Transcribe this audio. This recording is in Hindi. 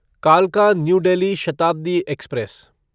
कालका न्यू डेल्ही शताब्दी एक्सप्रेस